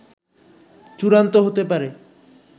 চূড়ান্ত হতে পারে